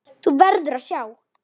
Þú verður að sjá!